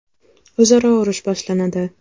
O‘zaro urush boshlanadi.